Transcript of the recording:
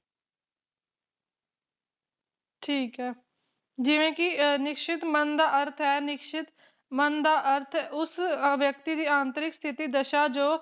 ਠੀਕ ਏ ਜਿਵੇ ਕਿ ਅ ਨਿਸ਼ਚਿਤ ਮਨ ਦਾ ਅਰਥ ਹੈ ਨਿਸ਼ਚਿਤ ਮਨ ਦਾ ਅਰਥ ਉਸ ਵਿਅਕਤੀ ਦੀ ਆਂਤਰਿਕ ਸਥਿਤੀ ਦਸ਼ਾ ਜੋ